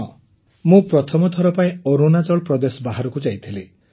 ହଁ ମୁଁ ପ୍ରଥମଥର ପାଇଁ ଅରୁଣାଚଳ ପ୍ରଦେଶ ବାହାରକୁ ଯାଇଥିଲି